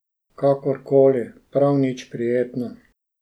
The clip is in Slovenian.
Kakor koli, prav nič prijetno.